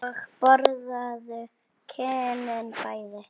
Og borðaðu kynin bæði.